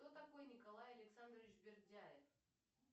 кто такой николай александрович бердяев